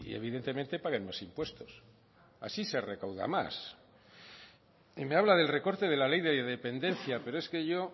evidentemente paguen más impuestos así se recauda más y me habla del recorte de la ley de dependencia pero es que yo